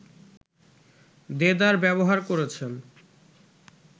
দেদার ব্যবহার করেছেন